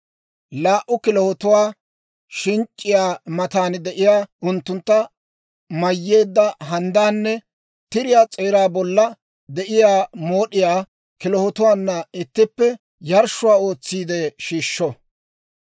laa"u kilahotuwaa, shinc'c'iyaa matan de'iyaa unttunttu mayyeedda handdaanne tiriyaa s'eeraa bolla de'iyaa mood'iyaa kilahotuwaana ittippe yarshshuwaa ootsiide shiishsho.